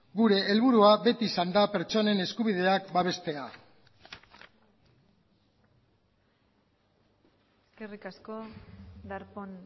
gure helburua beti izan da pertsonen eskubideak babestea eskerrik asko darpón